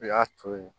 I y'a to ye